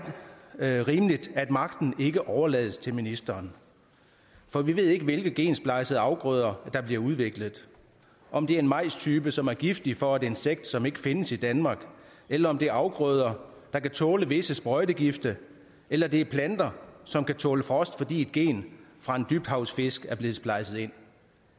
rimeligt at magten ikke overlades til ministeren for vi ved ikke hvilke gensplejsede afgrøder der bliver udviklet om det er en majstype som er giftig for et insekt som ikke findes i danmark eller om det er afgrøder der kan tåle visse sprøjtegifte eller det er planter som kan tåle frost fordi et gen fra en dybhavsfisk er blevet splejset ind